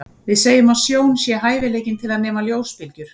Við segjum að sjón sé hæfileikinn til að nema ljósbylgjur.